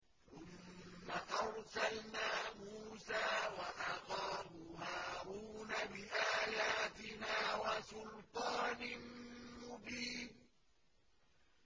ثُمَّ أَرْسَلْنَا مُوسَىٰ وَأَخَاهُ هَارُونَ بِآيَاتِنَا وَسُلْطَانٍ مُّبِينٍ